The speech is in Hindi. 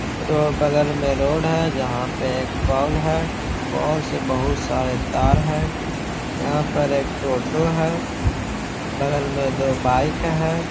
रो बगल में रोड है जहाँ पे एक पोल है। पोल से बहुत सारे तार है। यहाँ पर एक टोटो है बगल में दो बाइक है।